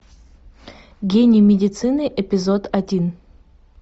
гений медицины эпизод один